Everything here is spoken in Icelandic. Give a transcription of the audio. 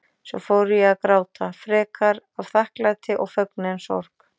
Svo fór ég að gráta, frekar af þakklæti og fögnuði en sorg.